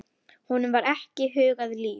Honum var ekki hugað líf.